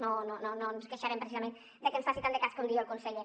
no ens queixarem precisament de que ens faci tant de cas com diu el conseller